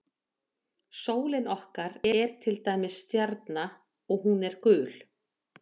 Sólin okkar er til dæmis stjarna og hún er gul.